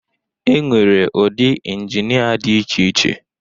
E nwere ụdị injinịa dị iche iche